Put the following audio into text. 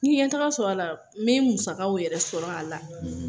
N ye ɲɛtaga sɔrɔ a la, n be n musakaw yɛrɛ sɔrɔ a la.